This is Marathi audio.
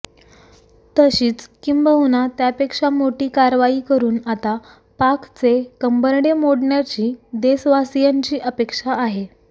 तशीच किंबहुना त्यापेक्षा मोठी कारवाई करून आता पाकचे कंबरडे मोडण्याची देशवासीयांची अपेक्षा आहे